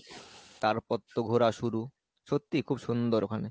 তার পর তো ঘোড়া শুরু, সত্যি খুব সুন্দর ওখানে।